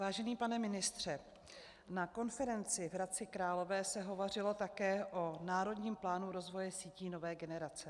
Vážený pane ministře, na konferenci v Hradci Králové se hovořilo také o Národním plánu rozvoje sítí nové generace.